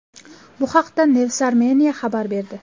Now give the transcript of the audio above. Bu haqda Newsarmenia xabar berdi .